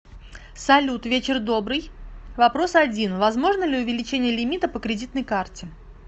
салют вечер добрый вопрос один возможно ли увеличение лимита по кредитной карте